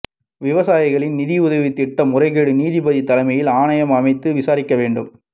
விவசாயிகள் நிதியுதவித் திட்ட முறைகேடு நீதிபதி தலைமையில் ஆணையம் அமைத்து விசாரிக்க வேண்டும்